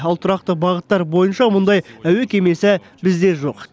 ал тұрақты бағыттар бойынша мұндай әуе кемесі бізде жоқ